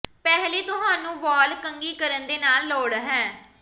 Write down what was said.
ਪਹਿਲੀ ਤੁਹਾਨੂੰ ਵਾਲ ਕੰਘੀ ਕਰਨ ਦੇ ਨਾਲ ਨਾਲ ਲੋੜ ਹੈ